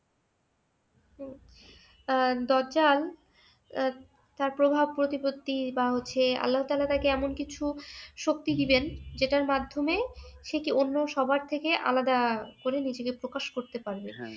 হম আহ দাজ্জাল তার প্রভাব প্রতিপত্তি বা হচ্ছে আল্লাহা তায়ালা তাকে এমন কিছু শক্তি দিবেন যেটার মাধ্যমে সেকে অন্য সবার থেকে আলাদা করে নিজেকে প্রকাশ করতে পারবে।